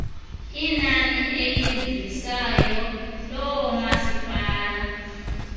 inani elivisayo loomasipala